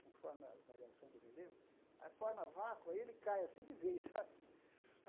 conforme a variação do relevo, aí forma vácuo, aí ele cai assim de vez, sabe?